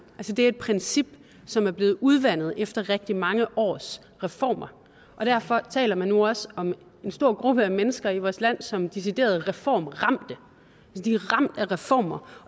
det er et princip som er blevet udvandet efter rigtig mange års reformer og derfor taler man nu også om en stor gruppe af mennesker i vores land som decideret reformramte de er ramt af reformer